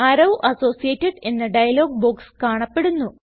arrow associated എന്ന dialog box കാണപ്പെടുന്നു